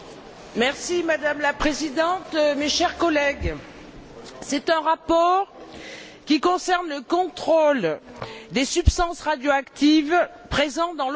Madame la Présidente, chers collègues, c'est un rapport qui concerne le contrôle des substances radioactives présentes dans l'eau potable.